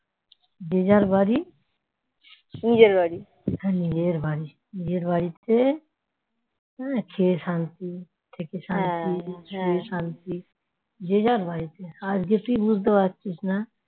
যে যার বাড়ি নিজের বাড়ি নিজের বাড়িতে খেয়ে শান্তি